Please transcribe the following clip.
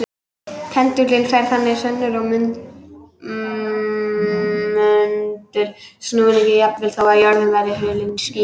Pendúllinn færir þannig sönnur á möndulsnúninginn jafnvel þó að jörðin væri hulin skýjum.